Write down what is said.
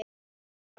Um vinda.